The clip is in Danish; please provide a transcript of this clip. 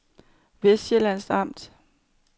Vestsjællands Amt